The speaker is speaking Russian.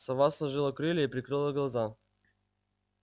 сова сложила крылья и прикрыла глаза